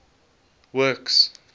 works